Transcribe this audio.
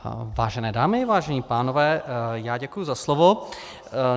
Vážené dámy, vážení pánové, já děkuji za slovo.